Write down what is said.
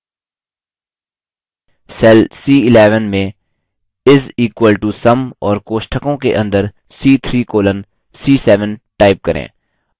cell c11 में is equal to sum और कोष्ठकों के अंदर c3 colon c7 type करें